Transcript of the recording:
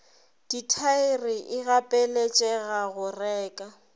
dithaere e gapeletšega go reka